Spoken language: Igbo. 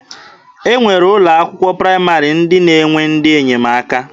E nwere ụlọ akwụkwọ praịmarị ndị na-enwe ndị enyemaka.